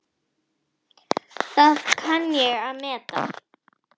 Það kann ég að meta.